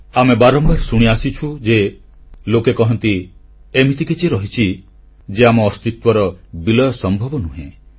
ଆମେ ବାରମ୍ବାର ଶୁଣି ଆସିଛୁ ଯେ ଲୋକେ କହନ୍ତି ଏମିତି କିଛି ରହିଛି ଯେ ଆମ ଅସ୍ତିତ୍ୱର ବିଲୟ ସମ୍ଭବ ନୁହେଁ